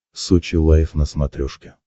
сочи лайв на смотрешке